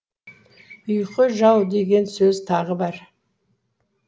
ұйқы жау деген сөз тағы бар